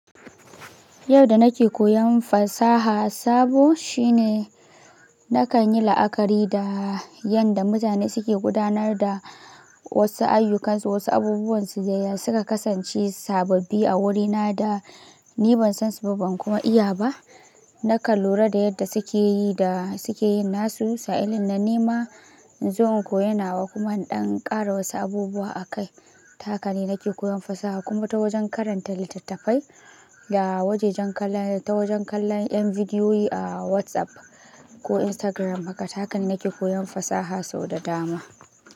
Yau da nake koyon fasaha sabo shine nakan yi la'akari da yanda mutane suke gudanar da wasu ayyukansu, wasu abubuwansu da yadda suka kasance sababbi a wurina da ni ban san su ba, ban kuma iya ba. Nakan lura da yadda suke yi da suke yin nasu, sa'illin na nima in zo in koyi nawa kuma in ɗan ƙara wasu abubuwa a kai. Ta haka ne nake koyon fasaha kuma ta wajen karanta littattafai da wajajen kallon, ta wajen kallon ƴan bidiyoyi a WhatsApp ko Instagram haka. Haka ne nake koyon fasaha sau da dama.